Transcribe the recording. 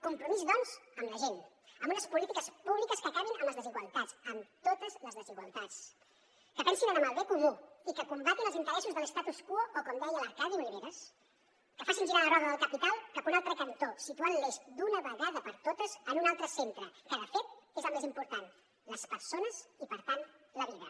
compromís doncs amb la gent amb unes polítiques públiques que acabin amb les desigualtats amb totes les desigualtats que pensin en el bé comú i que combatin els interessos de l’facin girar la roda del capital cap a un altre cantó situant l’eix d’una vegada per totes en un altre centre que de fet és el més important les persones i per tant la vida